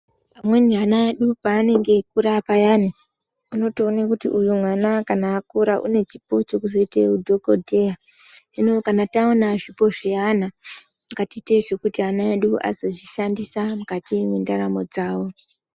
Amweni ana paanenge eyikura payani unotoone kuti uyu mwana kana akura une chipo chekuzoite dhokodheya. Hino kana taona zvipo zviyana ngatite zvekuti ana edu azozvishandisa mukati mwendaramo dzavo.